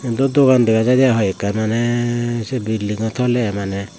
iyot dw dogan dega jaide i hoiek kan mane se building o tole i Mane.